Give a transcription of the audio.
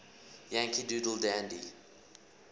yankee doodle dandy